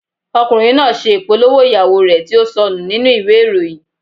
Ọkùnrin náà ṣe ìpolówó ìyàwó rẹ̀ tí ó sọnù nínú ìwé ìròyìn.